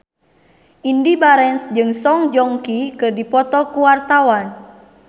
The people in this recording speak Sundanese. Indy Barens jeung Song Joong Ki keur dipoto ku wartawan